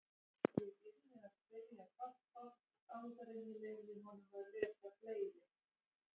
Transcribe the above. Ég yrði að spyrja pabba áður en ég leyfði honum að lesa fleiri.